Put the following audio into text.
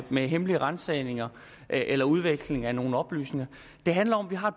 med hemmelige ransagninger eller udveksling af nogle oplysninger det handler om at vi har